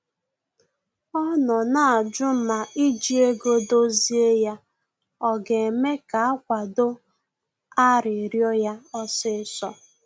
Ọ nọ na-ajụ ma iji ego dozie ya ọ ga-eme ka akwado arịrịọ ya osisọ